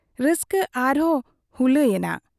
ᱨᱟᱹᱥᱠᱟᱹ ᱟᱨᱦᱚᱸ ᱦᱩᱞᱟᱹᱝ ᱮᱱᱟ ᱾